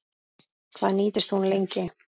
Hvað nýtist hún lengi?